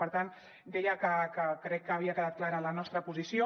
per tant deia que crec que havia quedat clara la nostra posició